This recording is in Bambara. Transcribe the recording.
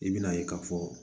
I bɛna ye k'a fɔ